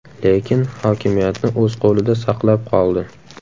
Lekin hokimiyatni o‘z qo‘lida saqlab qoldi.